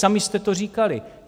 Sami jste to říkali.